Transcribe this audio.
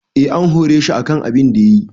Eh an hore shi akan abunda yayi.